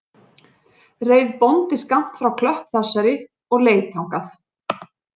Reið bóndi skammt frá klöpp þessari og leit þangað